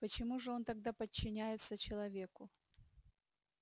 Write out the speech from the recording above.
почему же он тогда подчиняется человеку